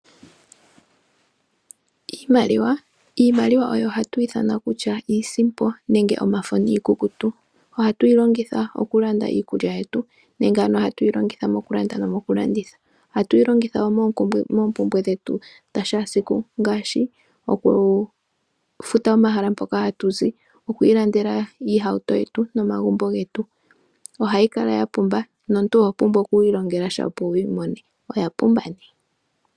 Iimaliwa, iimaliwa oyo hatwiithana kutya iisimpo nenge omafo niikukutu. Ohatu yi longitha okulanda iikulya yetu nenge ano ohatu yi longitha mokulanda nomokulanditha. Ohatu yi longitha wo moompumbwe dhetu dhashaasiku ngaashi okufuta omahala mpoka hatu zi, okwiilandela iihauto yetu nomagumbo getu. Ohayi kala yapumba nomuntu oho pumbwa okwiilongelasha opo wuyi mone opo wuyi mone, oyapumba nee.